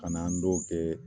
Ka n'an dɔw kɛ